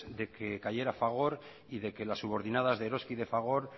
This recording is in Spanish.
de que cayera fagor y de que las subordinadas de eroski y de fagor